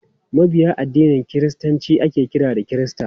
Mabiya addinin kiristanci ake kira kirista.